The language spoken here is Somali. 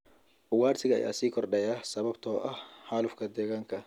Ugaadhsiga ayaa sii kordhaya sababtoo ah xaalufka deegaanka.